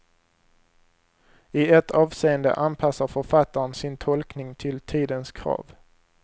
I ett avseende anpassar författaren sin tolkning till tidens krav.